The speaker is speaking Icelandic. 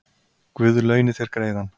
Guð launi þér greiðann